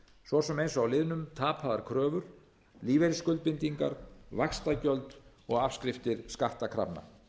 svo sem eins og á liðunum tapaðar kröfur lífeyrisskuldbindingar vaxtagjöld og afskriftir skattkrafna